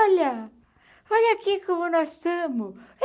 Olha, olha aqui como nós tamo.